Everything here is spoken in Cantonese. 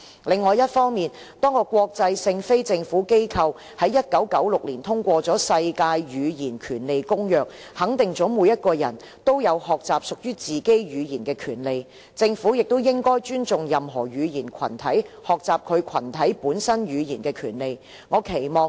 另一方面，多個國際性非政府機構在1996年通過了《世界語言權利宣言》，肯定了每個人都有學習屬於自己的語言的權利，政府也應該尊重任何語言群體學習其群體本身語言的權利。